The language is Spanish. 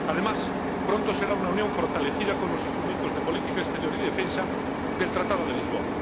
además, pronto será una Unión fortalecida con los instrumentos de política exterior y defensa del Tratado de Lisboa.